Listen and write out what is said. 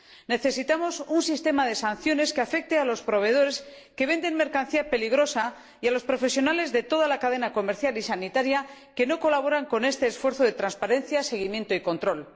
Necesitamos un sistema de sanciones que afecte a los proveedores que venden mercancía peligrosa y a los profesionales de toda la cadena comercial y sanitaria que no colaboran con este esfuerzo de transparencia, seguimiento y control.